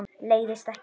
Leiðist ekki.